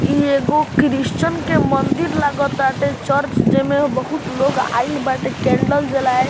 इ एगो क्रिश्चियन के मंदिर लगा ताटे चर्च जे में बहुत लोग आइल बाटे कैंडल जलाय --